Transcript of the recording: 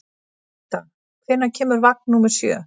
Birta, hvenær kemur vagn númer sjö?